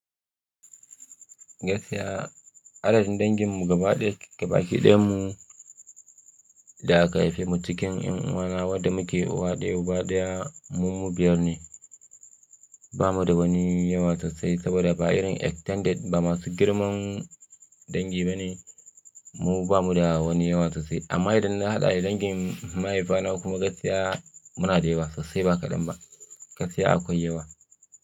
Gaskiya, adadin danginmu gaba ɗaya baki ɗayanmu da aka haife mu cikin yan uwana wadda muke uwa ɗaya uba ɗaya mu biyar ne. Ba mu da wani yawa sosai saboda ba irin extended ba masu girman dangi ba ne. Mu ba mu da wani yawa sosai amma idan na haɗa dangin mahaifina kuma gaskiya muna da yawa sosai ba kaɗan ba. Gaskiya akwai yawa.